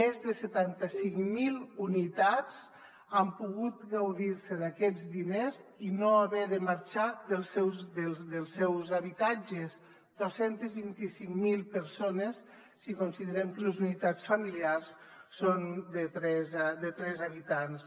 més de setanta cinc mil unitats han pogut gaudir d’aquests diners i no haver de marxar dels seus habitatges dos cents i vint cinc mil persones si considerem que les unitats familiars són de tres habitants